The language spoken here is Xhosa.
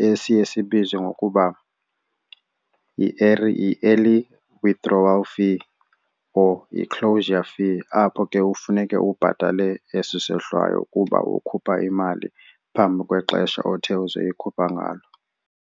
esiye sibizwe ngokuba yi-early early withdrawal fee or yi-closure fee apho ke kufuneke ubhatale esi sehlwayo kuba ukhupha imali phambi kwexesha othe uzoyikhupha ngalo.